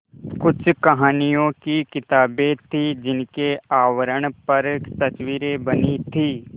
कुछ कहानियों की किताबें थीं जिनके आवरण पर तस्वीरें बनी थीं